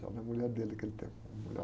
É uma mulher dele que ele tem, uma mulher alta.